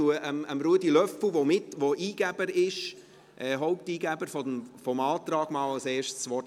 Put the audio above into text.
Ich gebe Ruedi Löffel, dem Haupteingeber dieses Antrags, als Erstem das Wort.